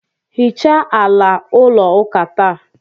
hichaa ala ụlọ ụka taa